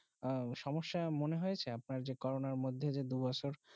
আহ সমস্যা মনে হয়েছে যে করোনা দুই বছর